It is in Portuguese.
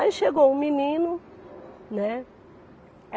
Aí chegou um menino, né.